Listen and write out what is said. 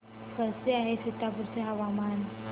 कसे आहे सीतापुर चे हवामान